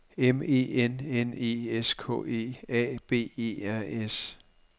M E N N E S K E A B E R S